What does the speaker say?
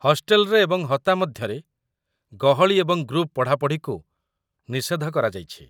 ହଷ୍ଟେଲରେ ଏବଂ ହତା ମଧ୍ୟରେ, ଗହଳି ଏବଂ ଗ୍ରୁପ୍ ପଢ଼ାପଢ଼ିକୁ ନିଷେଧ କରାଯାଇଛି